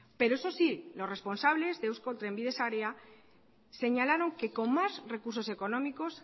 pero eso sí los responsables de eusko trenbide sarea señalaron que con más recursos económicos